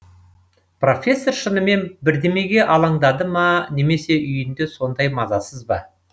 профессор шынымен бірдемеге алаңдады ма немесе үйінде сондай мазасыз ба